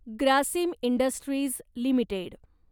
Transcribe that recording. Grasim industries limited